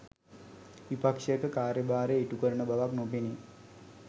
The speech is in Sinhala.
විපක්ෂයක කාර්ය භාරය ඉටු කරන බවක් නොපෙනේ